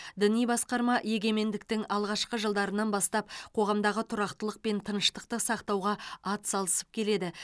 діни басқарма егемендіктің алғашқы жылдарынан бастап қоғамдағы тұрақтылық пен тыныштықты сақтауға атсалысып келеді